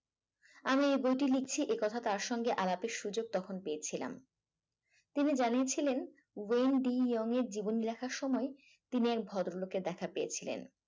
আমি এই বইটি লিখছি একথা তার সঙ্গে আলাপএর সুযোগ তখন পেয়েছিলাম তিনি জানিয়েছিলেন ব্রেন ডি ইয়ং এর জীবন লেখার সময় তিনি এক ভদ্রলোকে দেখা পেয়েছিলেন